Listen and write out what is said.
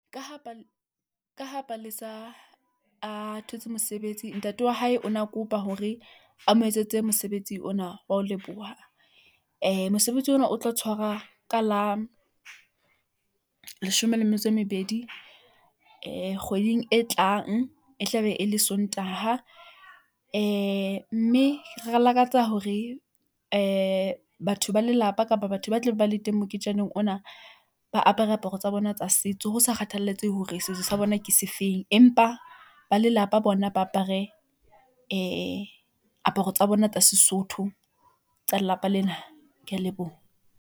Ka ha Palesa a thotse mosebetsi, ntate wa hae o ne a kopa hore a mo etsetse mosebetsi ona wa ho leboha, mosebetsi ona. O tlo tshwarwa ka la leshome le metso e mmedi, kgweding e tlang. E tlabe e le Sontaha, e mme re lakatsa hore batho ba lelapa kapa batho ba tle ba le teng moketjaneng ona. Ba apare aparo mme tsa bona tsa setso ho sa kgathalatsehe hore setso sa bona ke sefeng, empa ba lelapa bona ba apare aparo tsa bona tsa Sesotho tsa lelapa lena. Ke a leboha.